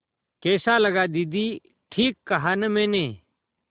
कैसा लगा दीदी ठीक कहा न मैंने